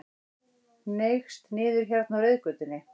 Hneigst niður hérna á reiðgötunni.